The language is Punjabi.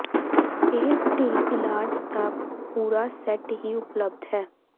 ਇਹ ਢਿੱਲ ਇਲਾਜ ਦਾ ਪੂਰਾ ਸੈੱਟ ਹੀ ਉਪਲੱਬਧ ਹੈ